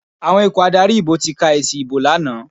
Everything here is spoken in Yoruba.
Àwọn ikọ̀ adarí ìbò ti ka èsì ìbò lánàá.